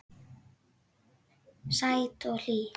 Sæt og hlý.